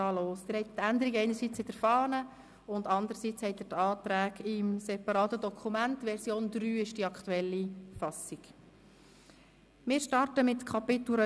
Dann frage ich noch Herrn Regierungsrat Käser, ob er am Anfang ein Votum halten möchte.